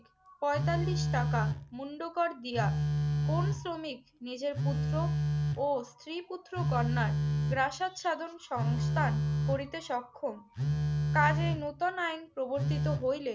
পঁয়তাল্লিশ টাকা মুন্ডকর দিয়া কোন শ্রমিক নিজের পুত্র ও স্ত্রী পুত্র-কন্যার প্রাসাদ সাধন সংস্থান করিতে সক্ষম। কাজেই নতুন আইন প্রবর্তিত হইলে